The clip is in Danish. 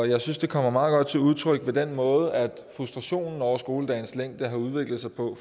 jeg synes det kommer meget godt til udtryk ved den måde frustrationen over skoledagens længde har udviklet sig på